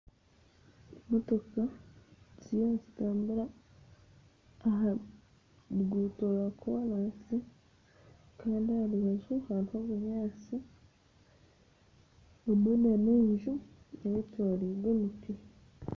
Motoka ziriyo nizitambura aha ruguto rwa korasi kandi aha rubaju hariho obunyaatsi hamwe n'enju eyetoroirwe emiti.